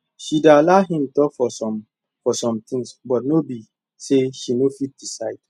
she dey allow him talk for some some things but no be say she no fit decide